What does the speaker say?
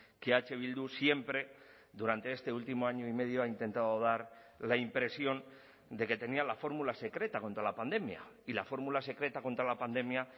que eh bildu siempre durante este último año y medio ha intentado dar la impresión de que tenía la fórmula secreta contra la pandemia y la fórmula secreta contra la pandemia